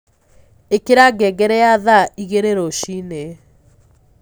ĩkĩra ngengere ya thaa ĩgĩrĩ rũcĩĩnĩ